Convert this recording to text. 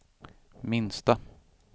minsta